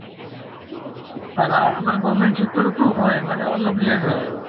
আৰু আমাৰ government sector তো হয় মানে অলপ late হয় আৰু